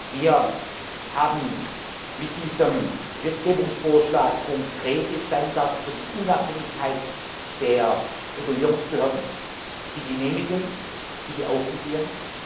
Wir haben mit diesem Gesetzgebungsvorschlag konkrete Standards für die Unabhängigkeit der Regulierungsbehörden, die genehmigen, die beaufsichtigen.